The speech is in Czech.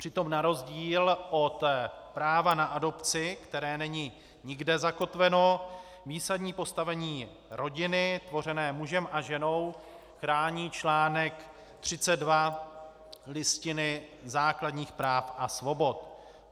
Přitom na rozdíl od práva na adopci, které není nikde zakotveno, výsadní postavení rodiny tvořené mužem a ženou chrání článek 32 Listiny základních práv a svobod.